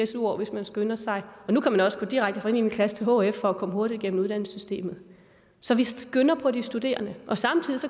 su år hvis man skynder sig og nu kan man også gå direkte fra niende klasse til hf for at komme hurtigt igennem uddannelsessystemet så vi skynder på de studerende og samtidig